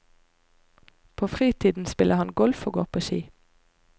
På fritiden spiller han golf og går på ski.